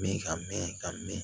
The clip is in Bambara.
Mɛ ka mɛn ka mɛɛn